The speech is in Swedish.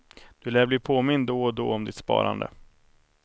Du lär bli påmind då och då om ditt sparande.